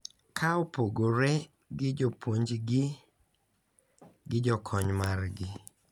Ka opogore gi jopunjgi gi jokony margi.